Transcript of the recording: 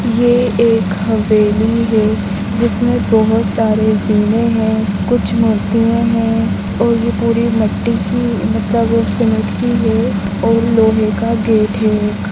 ये एक हवेली है जिसमे बहोत सारे जीने है कुछ मुर्तिये है और पूरी मटटी की मतलब सीमेंट की है और लोहे का गेट है एक